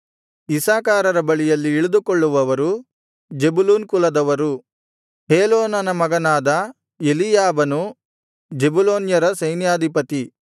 ಇಸ್ಸಾಕಾರರ ಬಳಿಯಲ್ಲಿ ಇಳಿದುಕೊಳ್ಳುವವರು ಜೆಬುಲೂನ್ ಕುಲದವರು ಹೇಲೋನನ ಮಗನಾದ ಎಲೀಯಾಬನು ಜೆಬುಲೂನ್ಯರ ಸೈನ್ಯಾಧಿಪತಿ